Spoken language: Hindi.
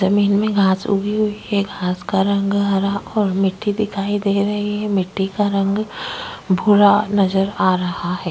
जमीन में घांस उगी हुई है घांस का रंग हरा और मिट्टी दिखाई दे रही है। मिटटी का रंग भूरा नजर आ रहा है।